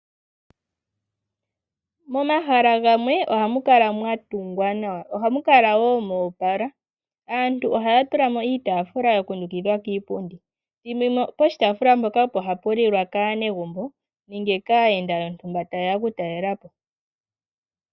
Momahala gamwe ohamu kala mwa tungwa nawa, ohamu kala wo moopala. Aantu ohaya tula mo iitaafula ya kundukidhwa kiipundi, thimbo limwe poshitaafula mpoka opo hapu lilwa kaanegumbo nenge kaayenda yontumba taye ya oku talela po.